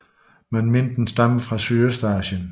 Den menes at stamme fra Sydøstasien